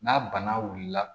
N'a bana wulila